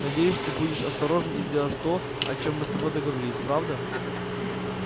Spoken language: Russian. надеюсь ты будешь осторожен и сделаешь то о чём мы с тобой договорились правда